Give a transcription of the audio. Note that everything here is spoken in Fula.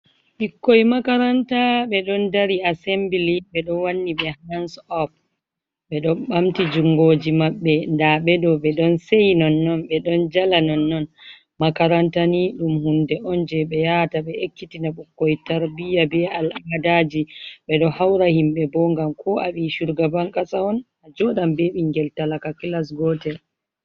Ɓikkoi makaranta ɓe don dari asembli ɓe ɗo wanni ɓe hans op ɓe ɗon ɓamti jungoji maɓɓe da ɓe ɗo ɓe don sei non non ɓe don jala non non makaranta ni ɗum hunde on je be yata ɓe ekkitina ɓikkoi tarbiya be al amadaji ɓe do haura himɓe bo gam ko aɓi shugabankasa on a joɗam be ɓingel talaka kilas gotel.